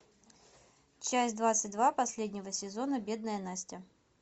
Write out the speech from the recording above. часть двадцать два последнего сезона бедная настя